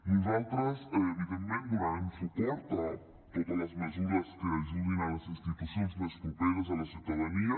nosaltres evidentment donarem suport a totes les mesures que ajudin les institucions més properes a la ciutadania